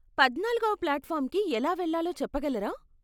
పద్నాల్గో ప్లాట్ఫార్మ్కి ఎలా వెళ్ళాలో చెప్పగలరా?